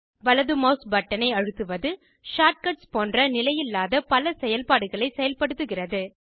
வலது மெளஸ் பட்டனை அழுத்துவது ஷார்டகட்ஸ் போன்ற நிலையில்லாத பல செயல்பாடுகளை செயல்படுத்துகிறது